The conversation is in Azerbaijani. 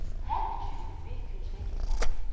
Hər üçü bir kücdə gizləndi.